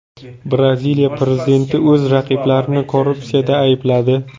Braziliya prezidenti o‘z raqiblarini korrupsiyada aybladi.